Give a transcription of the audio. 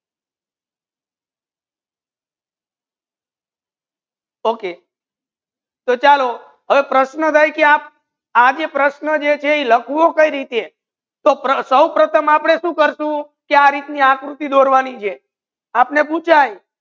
Okay તો ચાલો કોઈ પ્રશ્ર્ન રહે કી આપ આ જે પ્રશ્ર્ન જે તે લાખવુ કઈ રીતીએ સો પ્રથમ આપને શુ કરશુ કી આ રીત ની આકૃતિ દોરવાની છે આપને પૂછાયે.